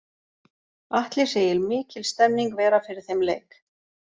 Atli segir mikil stemning vera fyrir þeim leik.